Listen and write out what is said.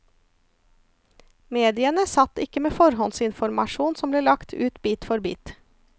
Mediene satt ikke med forhåndsinformasjon som ble lagt ut bit for bit.